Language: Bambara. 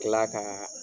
Kila ka